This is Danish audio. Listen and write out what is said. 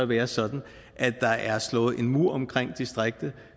være sådan at der er slået en mur omkring distriktet